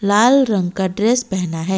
लाल रंग का ड्रेस पहना है।